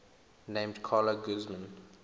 named carla guzman